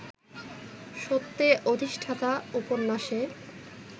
সত্যে অধিষ্ঠাতা উপন্যাসে